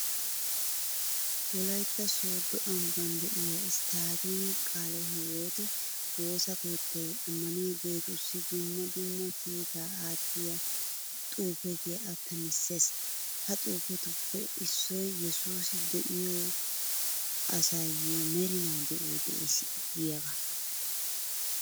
Wolaytta sooddo ambban de'iya isttaadeeme qaale hiwoote woosa keettay ammaniyageetussi dumma dumma kiitaa aattiya xuufiya attamissees.ha xuufetuppe issoy yesuusi de'iyo asayyo merinaa de'oy de'ees giyagaa.